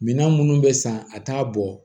Minan minnu bɛ san a t'a bɔ